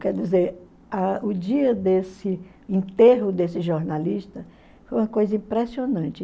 Quer dizer, a o dia desse enterro desse jornalista foi uma coisa impressionante.